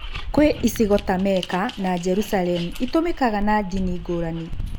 Kwĩ icigo ta Mecca na Jerusalemu itũmĩkaga na ndini ngũrani.